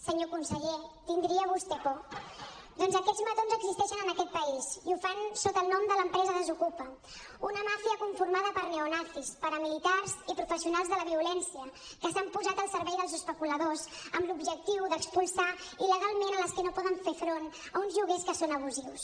senyor conseller tindria vostè por doncs aquests matons existeixen en aquest país i ho fan sota el nom de l’empresa desokupa una màfia conformada per neonazis paramilitars i professionals de la violència que s’han posat al servei dels especuladors amb l’objectiu d’expulsar il·legalment les que no poden fer front a uns lloguers que són abusius